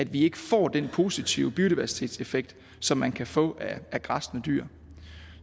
vi ikke får den positive biodiversitetseffekt som man kan få af græssende dyr